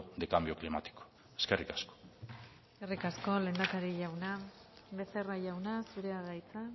de cambio climático eskerrik asko eskerrik asko lehendakari jauna becerra jauna zurea da hitza